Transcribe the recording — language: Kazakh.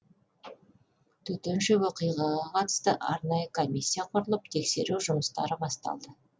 төтенше оқиғаға қатысты арнайы комиссия құрылып тексеру жұмыстары басталды